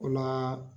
O la